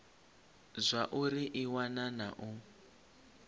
zwauri i wana na u